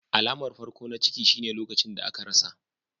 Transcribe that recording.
Alamar farko na ciki shine lokacin da aka rasa.